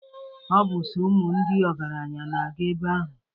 Ọ bụ sọ ụmụ ndị ọgaranya na-aga ebe ahụ.